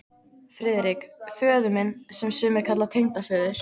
FRIÐRIK: Föður minn, sem sumir kalla tengdaföður